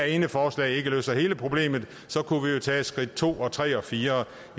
ene forslag ikke løser hele problemet så kunne vi jo tage skridt to og tre og fire